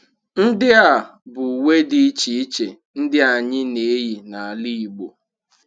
Ndị a bụ uwe dị iche iche ndị anyị na-eyi n’ala Igbo